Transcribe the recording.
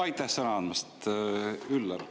Aitäh sõna andmast!